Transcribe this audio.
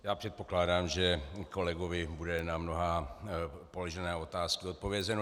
Já předpokládám, že kolegovi bude na mnohé položené otázky odpovězeno.